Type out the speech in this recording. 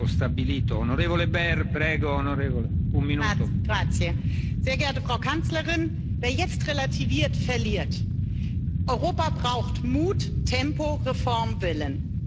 Herr Präsident, sehr geehrte Frau Kanzlerin! Wer jetzt relativiert, verliert! Europa braucht Mut, Tempo, Reformwillen.